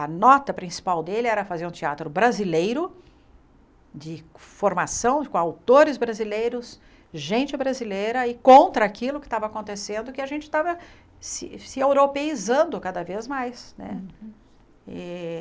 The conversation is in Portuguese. A nota principal dele era fazer um teatro brasileiro, de formação com autores brasileiros, gente brasileira, e contra aquilo que estava acontecendo, que a gente estava se se europeizando cada vez mais né eh.